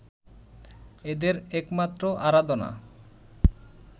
এদের একমাত্র আরাধনা